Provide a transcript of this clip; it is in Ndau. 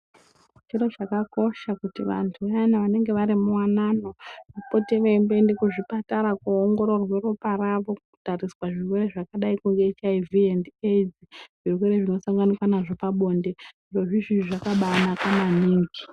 Zviro zvakakosha kuti vantu vayana vanenge vari muwanano, vapote veiende muzvipatara, koongororwe ropa ravo, kutariswa zvirwere zvakadai ngezveHIV endi AIDS, zvirwere zvinosanganika nazvo pabonde. Zvirozvi zvakabanakaa maningi.